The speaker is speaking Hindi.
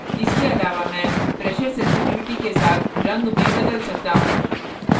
इसके अलावा मैं pressure sensitivity के साथ रंग भी बदल सकता हूँ